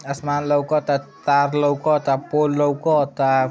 आसमान लउकता तार लउकता पोल लउकता।